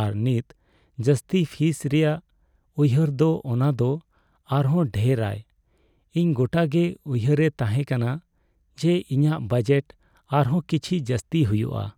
ᱟᱨ ᱱᱤᱛ ᱡᱟᱹᱥᱛᱤ ᱯᱷᱤᱥ ᱨᱮᱭᱟᱜ ᱩᱭᱦᱟᱹᱨ ᱫᱚ ᱚᱱᱟ ᱫᱚ ᱟᱨ ᱦᱚᱸ ᱰᱷᱮᱨ ᱟᱭ ᱾ ᱤᱧ ᱜᱚᱴᱟ ᱜᱮ ᱩᱭᱦᱟᱹᱨᱮ ᱛᱟᱦᱮᱸ ᱠᱟᱱᱟ ᱡᱮ ᱤᱧᱟᱹᱜ ᱵᱟᱡᱮᱴ ᱟᱨᱦᱚᱸ ᱠᱤᱪᱷᱤ ᱡᱟᱹᱥᱛᱤ ᱦᱩᱭᱩᱜᱼᱟ ᱾